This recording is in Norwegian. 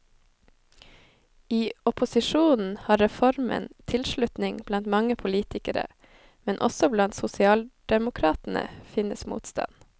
I opposisjonen har reformen tilslutning blant mange politikere, men også blant sosialdemokratene finnes motstand.